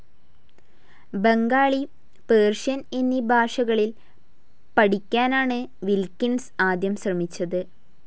Bengali, Persian എന്നീ ഭാഷകൾ പഠിയ്ക്കാനാണ് വിൽക്കിൻസ് ആദ്യം ശ്രമിച്ചത്.